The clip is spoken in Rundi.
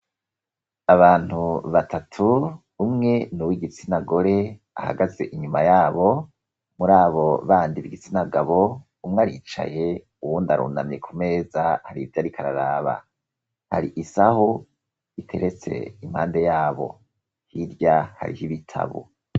Abantu batatu, umwe ni uwo igitsinagore, ahagaze inyuma y'abo. Muri abo bandi b'igitsinagabo, umwe aricaye uwundi arunamye ku meza har'ivyo ariko araraba. Har'isahu iteretse impande y'abo, hirya har'ibitabo.